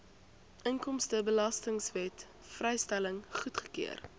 inkomstebelastingwet vrystelling goedgekeur